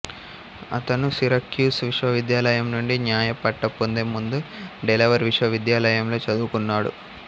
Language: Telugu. అతను సిరక్యూస్ విశ్వవిద్యాలయం నుండి న్యాయ పట్టా పొందే ముందు డెలావేర్ విశ్వవిద్యాలయంలో చదువుకున్నాడు